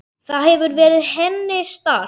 Það hefur verið henni sárt.